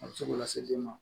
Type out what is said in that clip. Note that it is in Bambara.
A bɛ se k'o lase den ma